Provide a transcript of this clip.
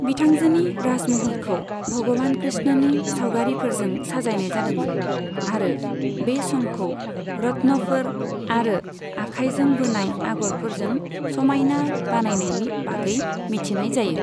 बिथांजोनि राजमहलखौ भगवान कृष्णनि सावगारिफोरजों साजायनाय जादोंमोन आरो बे समखौ रत्नफोर आरो आखाइजों बोनाय आगरफोरजों समायना बानायनायनि बागै मिन्थिनाय जायो।